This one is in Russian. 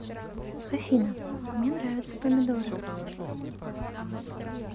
афина а мне нравятся помидоры